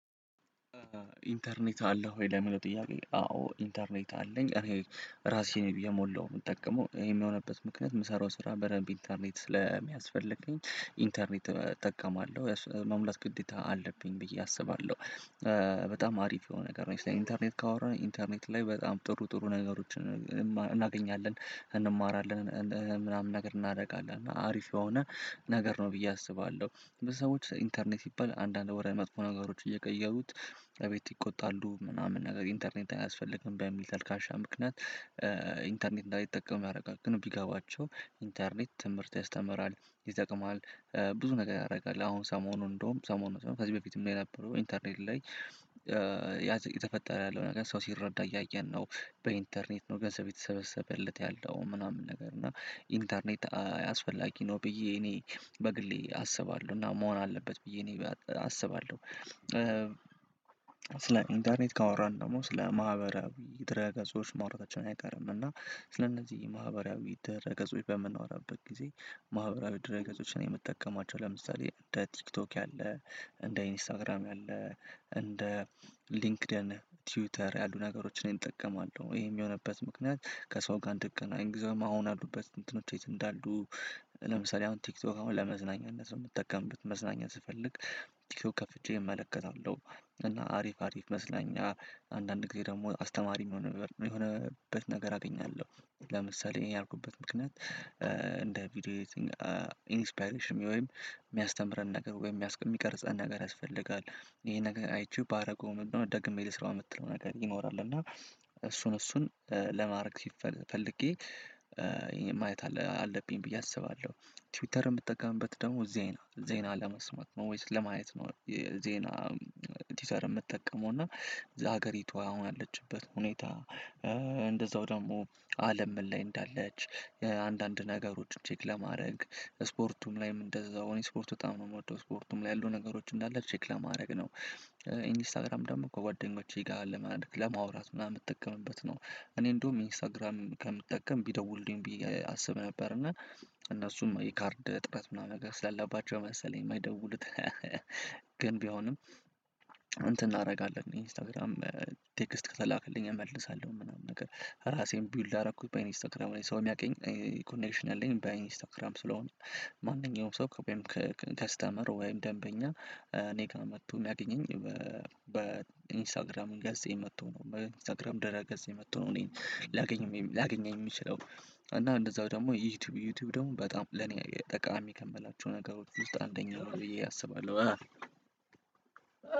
ኢንተርኔት አለህ ወይ? ለምለው ጥያቄ አዎ ኢንተርኔት አለኝ እኔ ራሴ ነኝ እየሞላሁ የምጠቀመው ይሄም የሆነበት ምክንያት የምሰራው ስራ በደንብ ኢንተርኔት ስለሚያስፈልገኝ ኢንተርኔት እጠቀማለሁ መሙላት ግዴታ አለብኝ ብዬ አስባለሁ። በጣም አሪፍ የሆነ ነገር ነው ስለ ኢንተርኔት ካወራን ኢንተርኔት ላይ በጣም ጥሩ ጥሩ ነገሮችን እናገኛለን እንማራለን። ምናምን ነገር እናደርጋለን አሪፍ የሆነ ነገር ነው ብዬ አስባለሁ። በሰዎች ኢንተርኔት ሲባል አንዳንድ ወደ መጥፎ ነገሮች እየቀየሩት እቤት ይቆጣሉ ምናምን ነገር ኢንተርኔት አያስፈልግም በሚል ተልካሻ ምክንያት። ኢንተርኔት እንዳይጠቀም ያደርጋል ግን ቢጋባቸው ኢንተርኔት ትምህርት ያስተምራል ይጠቅምሃል። ብዙ ነገር ያደርጋል አሁን ሰሞኑን እንደውም ሰሞኑን ከዚህ በፊትም ላይ የነበረው ኢንተርኔት ላይ እየተፈጠረ ያለው ነገር ሰው ሲረዳ እያየን ነው። በኢንተርኔት ነው ገንዘብ እየተሰበሰበለት ያለው ምናምን ነገር እና ኢንተርኔት አስፈላጊ ነው ብዬ እኔ በግሌ አስባለሁ እና መሆን አለበት ብዬ እኔ አስባለሁ። ስለ ኢንተርኔት ካወራን ደግሞ ስለ ማህበራዊ ድረ ገጾች ማውራታችንም አይቀርም እና ስለእነዚህ ማህበራዊ ድረ ገጾች በምናወራበት ጊዜ ማህበራዊ ድረ ገጾች እኔ የምጠቀማቸው ለምሳሌ እንደ ቲክቶክ ያለ እንደ ኢንስታግራም ያለ እንደ ሊንክድን ቲውተር ያሉ ነገሮችን እጠቀማለሁ ይሄም የሆነበት ምክንያት። ከሰው ጋር እንድገናኝ ግዜውም አሁን ያሉበት እንትኖች የት እንዳሉ? ለምሳሌ አሁን ቲክቶክ አሁን ለመዝናኛነት ነው የምጠቀምበት መዝናኛ ስፈልግ ቲክቶክ ከፍቼ እመለከታለሁ። እና አሪፍ አሪፍ መዝናኛ አንዳንድ ጊዜ ደግሞ አስተማሪ የሆነበት ነገር አገኛለሁ። ለምሳሌ ይሄን ያልኩበት ምክንያት እንደ ቪዲዮ ኤዲትንግ ኢንፓይሬሽን ወይም የሚያስተምረን ነገር ወይም የሚቀርጸን ነገር ያስፈልጋል። ይሄ ነገር አይችሉ ባደርገው ምንድነው? ደግሜ ልስራው የምትለው ነገር ይኖራል እና እሱን እሱን ለማድረግ ሲፈልግ ፈልጌ ማየት አለብኝ ብዬ አስባለሁ። ትዊተርም ምጠቀምበት ደግሞ ዜና ዜና ለመስማት ነው ወይስ ለማየት ነው ዜና? ቲውተር የምጠቀመው እና የሀገሪቱ አሁን ያለችበት ሁኔታ። እንደዛው ደግሞ አለም ምን ላይ እንዳለች? አንዳንድ ነገሮች ቼክ ለማድረግ ስፖርቱም ላይም እንደዛው ስፖርት በጣም ነው የምወደው ስፖርቱም ላይ ያሉ ነገሮች እንዳለ ቼክ ለማድረግ ነው። ኢንስታግራም ደግሞ ከጓደኞቼ ጋር ለማድረግ ለማውራት ምናምን የምጠቀምበት ነው። እኔ እንደውም ኢንስታግራም ከምጠቀም ቢደውልልኝ ቢዬ አስብ ነበር እና እነሱም የካርድ እጥረት ምናምን ነገር ስላለባቸው መሰለኝ የማይደውሉት። ግን ቢሆንም እንተን እናደርጋለን ኢንስታግራም ቴክስት ከተላከልኝ እመልሳለሁ ምናምን ነገር ራሴን ቢውልድ ያደረኩት በኢንስታክራም ላይ ሰው የሚያውቀኝ ኮኔክሽን አለኝ ባይ ኢንስታግራም ስለሆንኩ። ማንኛውም ሰው ከስተመር ወይም ደንበኛ እኔ ጋር መጥቶ የሚያገኘኝ በኢንስታግራም ገዛኝ መጥቶ ነው በኢንስታግራም ድረ ገፄ መጥቶ ነው እኔን ላገኝም ላገኘኝ የምችለው። እና እንደዛው ደግሞ ዩቲዩብ ዩቲዩብ ደግሞ በጣም ለኔ ጠቃሚ ከምላቸው ነገሮች ውስጥ አንደኛው ብዬ አስባለሁ።